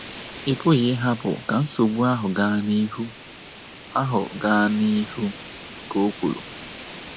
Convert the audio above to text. Ị pụghị ịhapụ ka nsogbu ahụ gaa n’ihu ahụ gaa n’ihu, ” ka o kwuru.